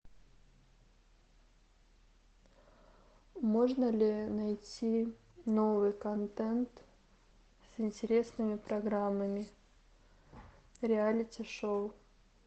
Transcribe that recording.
можно ли найти новый контент с интересными программами реалити шоу